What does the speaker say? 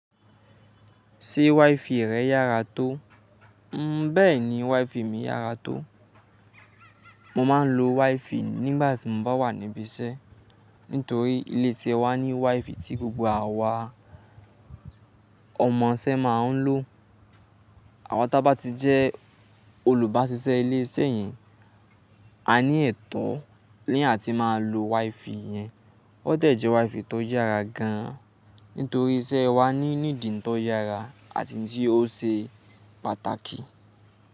Ṣé WiFi rẹ yára tó? N bẹ́ẹ̀ni WiFi mi yára tó. Mo máa ń lo WiFi nígbà tí mo bá wà níbí iṣẹ́. Nítorí ilé iṣẹ́ wa ní WiFi tí gbogbo àwa ọmọṣẹ́ máa ń lò. Àwa tá bá ti jẹ́ olùbáṣiṣẹ́ ilé iṣẹ́ yẹn, a ní ẹ̀tọ́ ní àti máa lo WiFi yẹn. Ó dẹ̀jẹ́ WiFi tó yára gan an. Nítorí iṣẹ́ wa ní nídìí n tó yára àti tí ó ṣe pàtàkì.